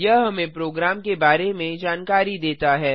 यह हमें प्रोग्राम के बारे में जानकारी देता है